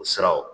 O siraw